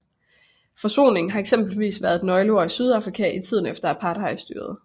Forsoning har eksempelvis været et nøgleord i Sydafrika i tiden efter apartheidstyret